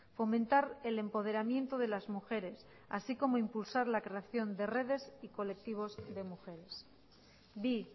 fomentar el empoderamiento de las mujeres así como impulsar la creación de redes y colectivos de mujeres bi